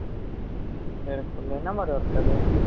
ஜீரக்பூர்ல என்ன மாதிரி work அது